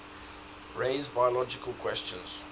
raise biological questions